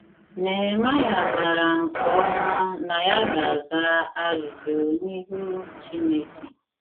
Nehemaịa maara nke ọma na ya ga - aza ajụjụ n’ihu Chineke.